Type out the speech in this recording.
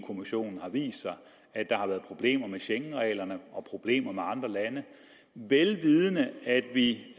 kommissionen har vist sig at der har været problemer med schengenreglerne og problemer med andre lande vel vidende at vi